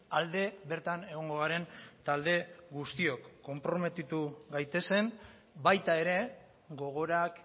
alde bertan egongo garen talde guztiok konprometitu gaitezen baita ere gogorak